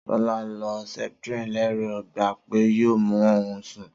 Sola lo septrin lérò ń gba pé yoo mú òun sún